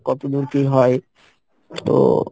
কত দূর কী হয়, তো